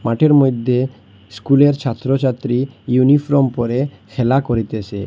মাঠের মইদ্যে স্কুলের ছাত্র ছাত্রী ইউনিফ্রম পরে খেলা করিতেসে।